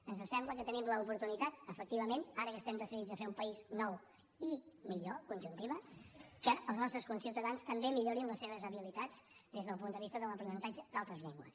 ens sembla que tenim l’oportunitat efectivament ara que estem decidits a fer un país nou i conjuntiva que els nostres conciutadans també millorin les seves habilitats des del punt de vista de l’aprenentatge d’altres llengües